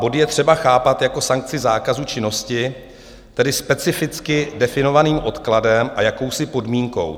Bod je třeba chápat jako sankci zákazu činnosti, tedy specificky definovaným odkladem a jakousi podmínkou.